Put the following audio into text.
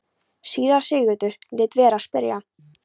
Síra Sigurður lét vera að spyrja.